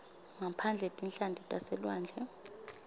ngaphandle tinhlanti taselwandle